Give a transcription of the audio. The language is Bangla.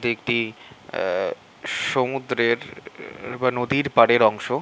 এইটি সমুদ্র বা নদীর পারের অংশ।